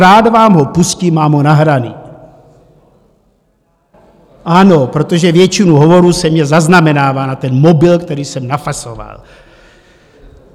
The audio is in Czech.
Rád vám ho pustím, mám ho nahraný - ano, protože většina hovorů se mně zaznamenává na ten mobil, který jsem nafasoval.